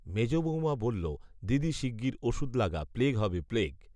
মেজ বৌমা বলল দিদি শিগগির ওষুধ লাগা প্লেগ হবে প্লেগ